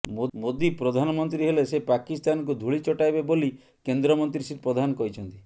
ମୋଦି ପ୍ରଧାନମନ୍ତ୍ରୀ ହେଲେ ସେ ପାକିସ୍ତାନକୁ ଧୂଳି ଚଟାଇବେ ବୋଲି କେନ୍ଦ୍ରମନ୍ତ୍ରୀ ଶ୍ରୀ ପ୍ରଧାନ କହିଛନ୍ତି